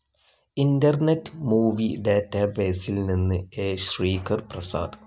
Internet movie ഡാറ്റാബേസിൽ നിന്ന് A. Sreekar Prasad